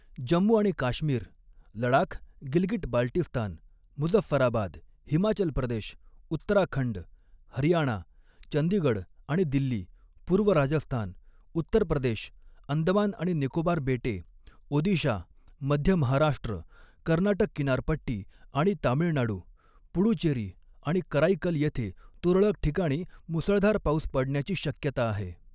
जम्मू आणि काश्मीर, लडाख, गिलगिट बाल्टिस्तान, मुझफ्फराबाद, हिमाचल प्रदेश, उत्तराखंड, हरियाणा, चंदीगड आणि दिल्ली, पूर्व राजस्थान, उत्तर प्रदेश, अंदमान आणि निकोबार बेटे, ओदिशा, मध्य महाराष्ट्र, कर्नाटक किनारपट्टी आणि तामिळनाडू, पुडुचेरी आणि कराईकल येथे तुरळक ठिकाणी मुसळधार पाऊस पडण्याची शक्यता आहे.